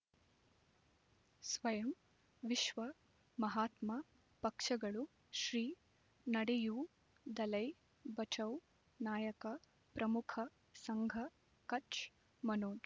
ಸ್ವಯಂ ವಿಶ್ವ ಮಹಾತ್ಮ ಪಕ್ಷಗಳು ಶ್ರೀ ನಡೆಯೂ ದಲೈ ಬಚೌ ನಾಯಕ ಪ್ರಮುಖ ಸಂಘ ಕಚ್ ಮನೋಜ್